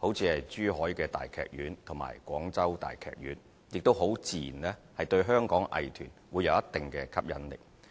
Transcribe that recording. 如珠海大劇院和廣州大劇院，很自然對香港的藝團會有一定的吸引力。